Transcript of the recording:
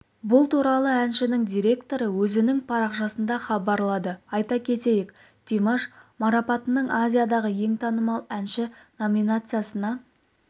бұл туралы әншінің директоры өзінің парақшасында хабарлады айта кетейік димаш марапатының азиядағы ең танымал әнші номинациясына